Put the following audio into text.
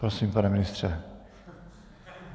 Prosím, pane ministře.